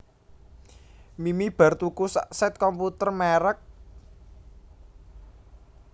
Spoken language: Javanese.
Mimi bar tuku sak set komputer merk